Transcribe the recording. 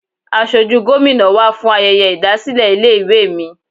Asojú Gómìnà wá fún ayẹyẹ ìdásílẹ̀ ilé ìwé mi.